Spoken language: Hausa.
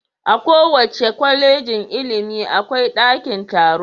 A kowace Kwallejin ilimi akwai daki taro.